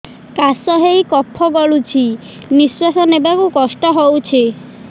କାଶ ହେଇ କଫ ଗଳୁଛି ନିଶ୍ୱାସ ନେବାକୁ କଷ୍ଟ ହଉଛି